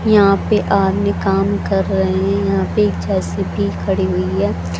यहां पे आदमी कम कर रहे हैं यहां पे जे_सी_बी खड़ी हुई है।